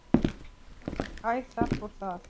Æ, þar fór það.